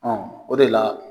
Ɔ o de la